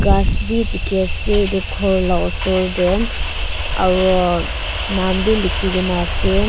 gass bhi dekhi ase etu gour laga osor te aru nam bhi likhe kina ase.